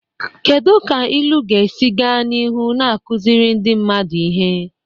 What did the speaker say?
Kedu ka ilu ga-esi gaa n'ihu na-akụziri ndị mmadụ ihe?